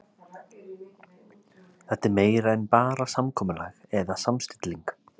Þetta er meira en bara samkomulag eða samstilling.